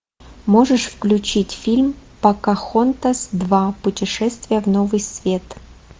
можешь включить фильм покахонтас два путешествие в новый свет